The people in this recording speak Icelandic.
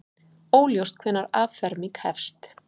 Óljóst hvenær afferming hefst